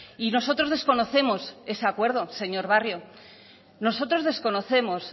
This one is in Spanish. y nosotros desconocemos ese acuerdo señor barrio nosotros desconocemos